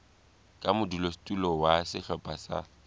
ka modulasetulo wa sehlopha sa